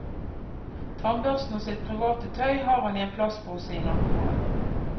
Tannbørsten og sitt private tøy har han i en plastpose i nattbordet.